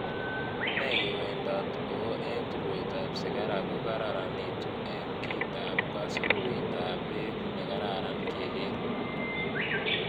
Nee kewendot oor eng' tulwetap sigara ko kararanitu eng' kiitap kasururoitoap peek ne kararan kegeer